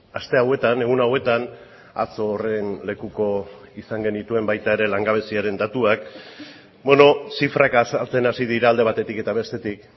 aste hauetan egun hauetan atzo horren lekuko izan genituen baita ere langabeziaren datuak zifrak azaltzen hasi dira alde batetik eta bestetik